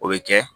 O bɛ kɛ